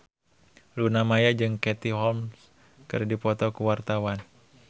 Luna Maya jeung Katie Holmes keur dipoto ku wartawan